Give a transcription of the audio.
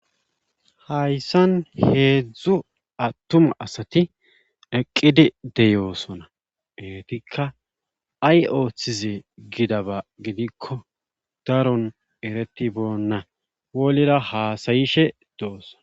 Hayssan heedzdzu attuma asati eqqidi deyoosona geetikka ay ooththize gidaba gidikko daron ereti boonna wolera haasayishe do'osona.